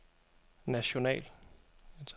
national